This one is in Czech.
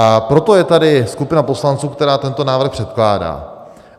A proto je tady skupina poslanců, která tento návrh předkládá.